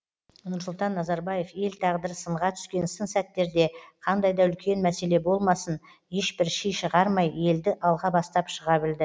нұрсұлтан назарбаев ел тағдыры сынға түскен сын сәттерде қандай да үлкен мәселе болмасын ешбір ши шығармай елді алға бастап шыға білді